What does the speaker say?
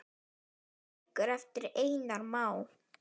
Bækur eftir Einar Má.